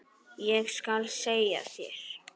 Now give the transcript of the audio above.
Ég skal segja þér,